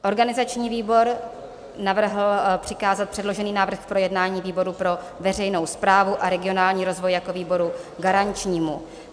Organizační výbor navrhl přikázat předložený návrh k projednání výboru pro veřejnou správu a regionální rozvoj jako výboru garančnímu.